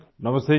नमस्ते जी